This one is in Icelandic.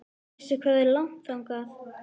Veistu hvað er langt þangað?